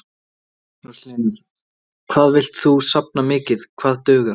Magnús Hlynur: Hvað villt þú safna mikið, hvað dugar?